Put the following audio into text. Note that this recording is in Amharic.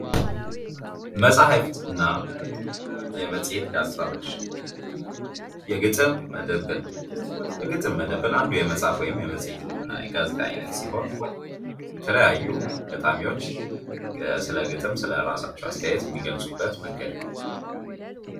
መጻፍት እና የመጽሄት ጋዜጣዎች የግጥም መድብል የግጥም መድብል አንዱ የመጽሐፍት የመጽሄት የጋዜጣ ዓይነት ሲሆን የተለያዩ ገጣሚዎች ስለ ግጥም ስለራሳቸው አስተያየት የሚገልፁበት መንገድ ነው።